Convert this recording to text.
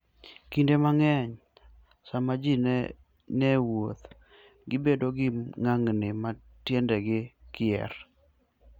Kinde mang'eny, sama ji ni e wuoth, gibedo gi ng'ang'ni ma tiendegi kier.